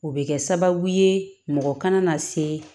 O bɛ kɛ sababu ye mɔgɔ kana na se